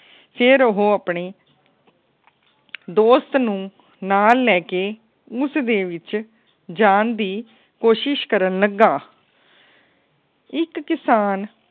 ਫੇਰ ਉਹ ਆਪਣੇ ਦੋਸਤ ਨੂੰ ਨਾਲ ਲੈ ਕੇ ਉਸ ਦੇ ਵਿੱਚ ਜਾਨ ਦੀ ਕੋਸ਼ਿਸ਼ ਕਰਨ ਲੱਗਾ। ਇੱਕ ਕਿਸਾਨ